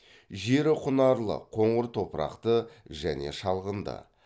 жері құнарлы қоңыр топырақты және шалғынды